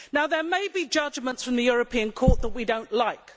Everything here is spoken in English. Now there may be judgments from the European Court that we do not like.